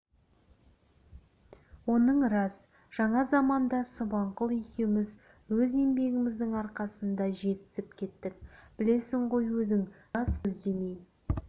оның рас жаңа заманда субанқұл екеуміз өз еңбегіміздің арқасында жетісіп кеттік білесің ғой өзің жаз-күз демей